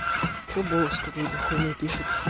чего бойлокс какую-то хуйню пишет